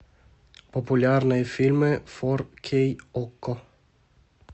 популярные фильмы фор кей окко